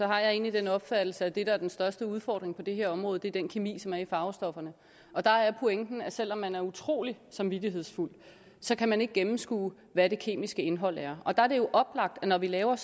har jeg egentlig den opfattelse at det der er den største udfordring på det her område er den kemi som er i farvestofferne og der er pointen at selv om man er utrolig samvittighedsfuld så kan man ikke gennemskue hvad det kemiske indhold er og der er det jo oplagt at når vi laver